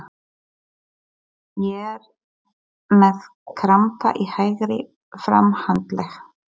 Ég er með krampa í hægri framhandlegg.